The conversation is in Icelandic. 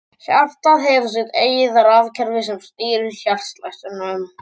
Hjartað hefur sitt eigið rafkerfi sem stýrir hjartslættinum.